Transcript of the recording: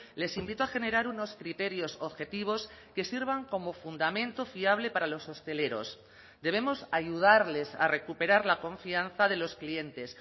les invito a generar unos criterios objetivos que sirvan como fundamento fiable para los hosteleros debemos ayudarles a recuperar la confianza de los clientes